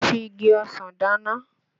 Mo fi igi ọsàn dáná